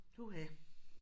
Puha